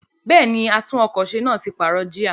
Bẹ́ẹ̀ni, àtún-ọkọ̀-se náà ti pààrọ̀ jíà.